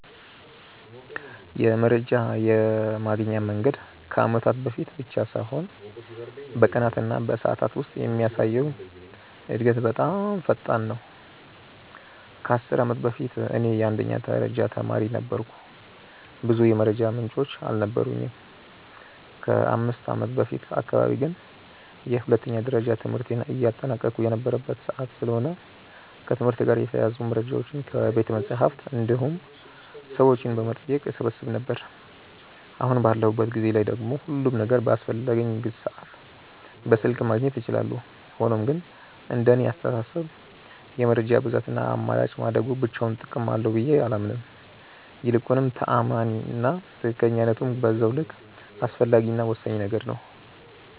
የመረጃ የማግኛ መንገድ ከአመታት በፊት ብቻ ሳይሆን በቀናት እና በሰዓታት ውስጥ የሚያሳየው እድገት በጣም ፈጣን ነው። ከ10 አመት በፊት እኔ የአንደኛ ደረጃ ተማሪ ነበርኩ ብዙ የመረጃ ምንጮች አልነበሩኝም። ከ5ከአመት በፊት አካባቢ ግን የሁለተኛ ደረጃ ትምህርቴን እያጠናቀቅሁ የነበረበት ሰዓት ስለሆነ ከትምህርት ጋር የተያያዙ መረጃዎችን ከቤተመፅሀፍት እንዲሁም ሰዎችን በመጠየቅ እሰበስብ ነበር። አሁን ባለሁበት ጊዜ ላይ ደግሞ ሁሉም ነገር በአስፈለገኝ ሰዓት በስልክ ማግኘት እችላለሁ። ሆኖም ግን እንደኔ አስተሳሰብ የመረጃ ብዛት እና አማራጭ ማደጉ ብቻውን ጥቅም አለው ብዬ አላምንም። ይልቁንም ተአማኒ እና ትክክለኝነቱም በዛው ልክ አስፈላጊ እና ወሳኝ ነገር ነው።